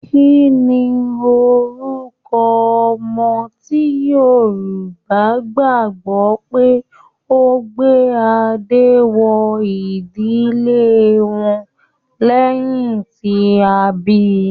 Kínní orúkọ ọmọ ti Yorùbá gbagbọ pe o gbé adé wọ ìdílé wọn lẹyìn tí a bí?